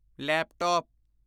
laptop